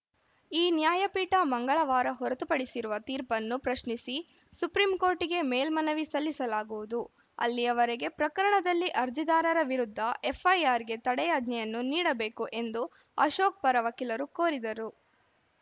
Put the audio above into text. ಈ ನ್ಯಾಯಪೀಠ ಮಂಗಳವಾರ ಹೊರತುಪಡಿಸಿರುವ ತೀರ್ಪನ್ನು ಪ್ರಶ್ನಿಸಿ ಸುಪ್ರೀಂಕೋರ್ಟ್‌ಗೆ ಮೇಲ್ಮನವಿ ಸಲ್ಲಿಸಲಾಗುವುದು ಅಲ್ಲಿಯವರೆಗೆ ಪ್ರಕರಣದಲ್ಲಿ ಅರ್ಜಿದಾರರ ವಿರುದ್ಧ ಎಫ್‌ಐಆರ್‌ಗೆ ತಡೆಯಾಜ್ಞೆಯನ್ನು ನೀಡಬೇಕು ಎಂದು ಅಶೋಕ್‌ ಪರ ವಕೀಲರು ಕೋರಿದರು